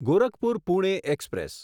Gorakhpur Pune express